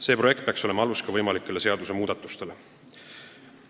See projekt peaks olema alus ka võimalikele seadusmuudatustele.